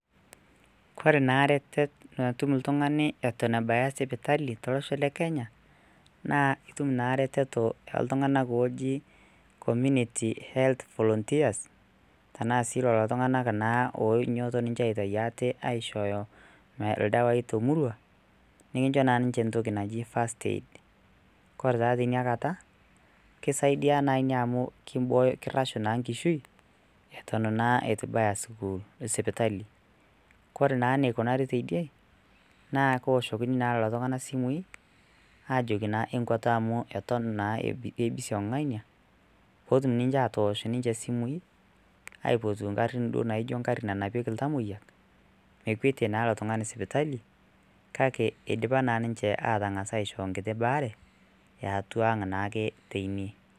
kore naa iretet natum iltung'ani eton ebaya sipitali tolosho le kenya naa itum naa reteto eoltung'anak oji community health volunteers tenaa sii lolo tung'anak naa oinyiototo ninche aitai aate aishooyo ildawai tomurua nikincho naa ninche entoki naji first aid kore taa teinakata kisaidia naa inia amu kimbooyo, kirrashu naa nkishui eton naa itu ibaya sipitali kore naa nikunari teidie naa kooshokini naa lolo tung'anak simui ajoki naa enkuata amu eton naa ebisiong ng'ania potum ninche atoosh ninche isimui aipotu ingarrin duo naijo ngarri nanapieki iltamoyiak mekwetie naa ilo tung'ani sipitali kake idipa naa ninche atang'as aisho nkiti baare eatua ang naake teine.